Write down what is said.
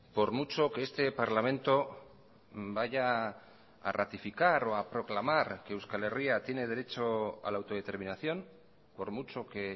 por mucho que este parlamento vaya a ratificar o a proclamar que euskal herria tiene derecho a la autodeterminación por mucho que